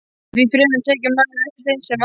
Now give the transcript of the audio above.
En því fremur tekur maður eftir þeim sem vanta.